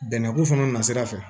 Bɛnɛ ko fana na sira fɛ